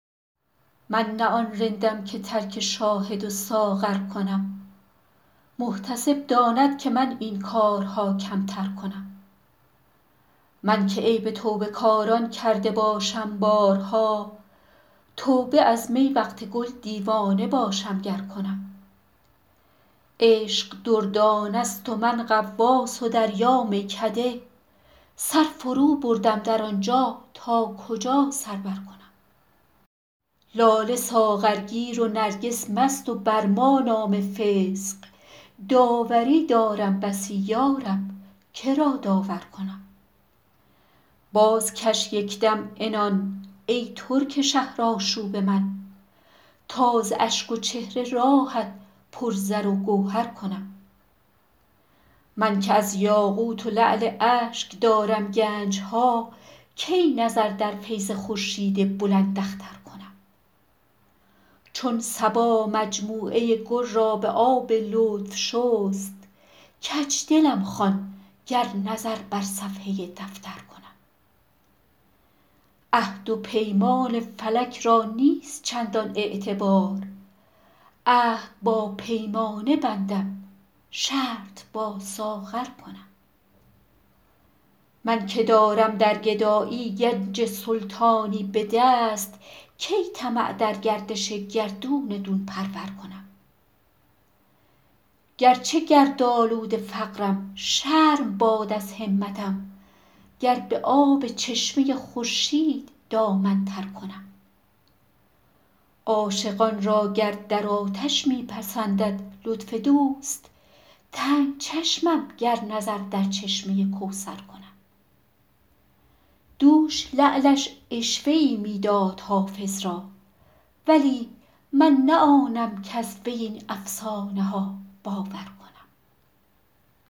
من نه آن رندم که ترک شاهد و ساغر کنم محتسب داند که من این کارها کمتر کنم من که عیب توبه کاران کرده باشم بارها توبه از می وقت گل دیوانه باشم گر کنم عشق دردانه ست و من غواص و دریا میکده سر فروبردم در آن جا تا کجا سر برکنم لاله ساغرگیر و نرگس مست و بر ما نام فسق داوری دارم بسی یا رب که را داور کنم بازکش یک دم عنان ای ترک شهرآشوب من تا ز اشک و چهره راهت پر زر و گوهر کنم من که از یاقوت و لعل اشک دارم گنج ها کی نظر در فیض خورشید بلنداختر کنم چون صبا مجموعه گل را به آب لطف شست کج دلم خوان گر نظر بر صفحه دفتر کنم عهد و پیمان فلک را نیست چندان اعتبار عهد با پیمانه بندم شرط با ساغر کنم من که دارم در گدایی گنج سلطانی به دست کی طمع در گردش گردون دون پرور کنم گر چه گردآلود فقرم شرم باد از همتم گر به آب چشمه خورشید دامن تر کنم عاشقان را گر در آتش می پسندد لطف دوست تنگ چشمم گر نظر در چشمه کوثر کنم دوش لعلش عشوه ای می داد حافظ را ولی من نه آنم کز وی این افسانه ها باور کنم